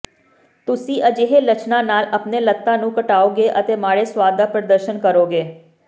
ਤੁਸੀਂ ਅਜਿਹੇ ਲੱਛਣਾਂ ਨਾਲ ਆਪਣੇ ਲੱਤਾਂ ਨੂੰ ਘਟਾਓਗੇ ਅਤੇ ਮਾੜੇ ਸੁਆਦ ਦਾ ਪ੍ਰਦਰਸ਼ਨ ਕਰੋਗੇ